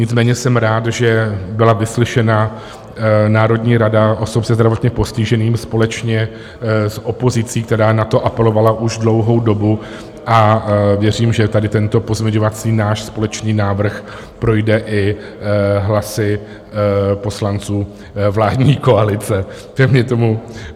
Nicméně jsem rád, že byla vyslyšena Národní rada osob se zdravotním postižením společně s opozicí, která na to apelovala už dlouhou dobu, a věřím, že tady tento pozměňovací náš společný návrh projde i hlasy poslanců vládní koalice.